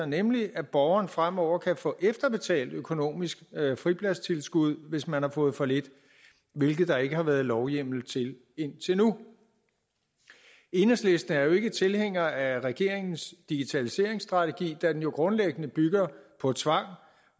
nemlig at borgeren fremover kan få efterbetalt økonomisk fripladstilskud hvis man har fået for lidt hvilket der ikke har været lovhjemmel til indtil nu enhedslisten er jo ikke tilhængere af regeringens digitaliseringsstrategi da den grundlæggende bygger på tvang